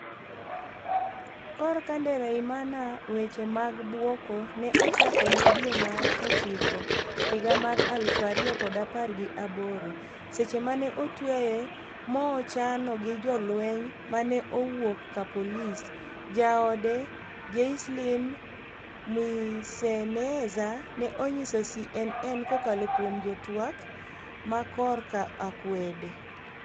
kor ka Ndereyimana weche mag buoko ne ochakone dwe mar ochiko higa mar aluf ariyo kod apar gi aboro. seche mane otweye moochano gi jolweny ma ne owuok ka polis. jaode Jaiseline Mwiseneza ne onyiso CNN. kokalo kuom jatwak ma kor ka akwede.